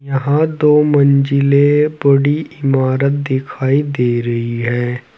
यहां दो मंजिले बड़ी इमारत दिखाई दे रही है।